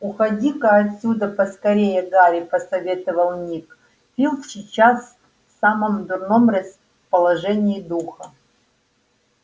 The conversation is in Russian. уходи-ка отсюда поскорее гарри посоветовал ник филч сейчас в самом дурном расположении духа